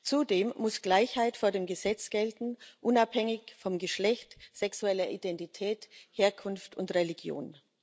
Zudem muss Gleichheit vor dem Gesetz gelten, unabhängig von Geschlecht, sexueller Identität, Herkunft und Religion.